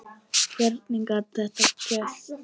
Hvernig gat þetta gerst?